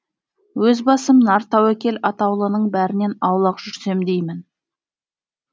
өз басым нар тәуекел атаулының бәрінен аулақ жүрсем деймін